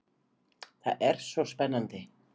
Það var svo spennandi.